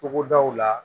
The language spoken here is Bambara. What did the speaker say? Togodaw la